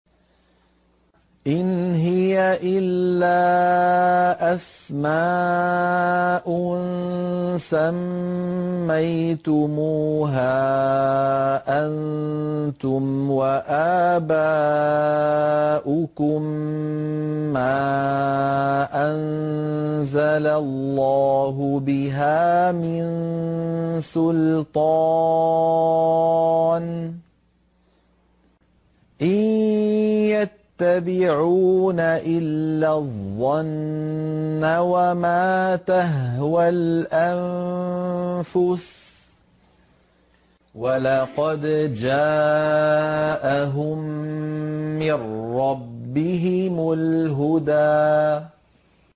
إِنْ هِيَ إِلَّا أَسْمَاءٌ سَمَّيْتُمُوهَا أَنتُمْ وَآبَاؤُكُم مَّا أَنزَلَ اللَّهُ بِهَا مِن سُلْطَانٍ ۚ إِن يَتَّبِعُونَ إِلَّا الظَّنَّ وَمَا تَهْوَى الْأَنفُسُ ۖ وَلَقَدْ جَاءَهُم مِّن رَّبِّهِمُ الْهُدَىٰ